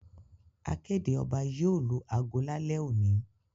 Akéde oba yío lù ago lálé òní